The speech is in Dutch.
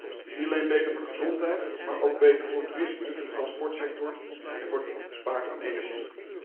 Het is niet alleen beter voor de gezondheid maar ook beter voor toerisme, voor de transportsector en voor het besparen van energie.